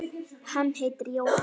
Hann heitir Jóhann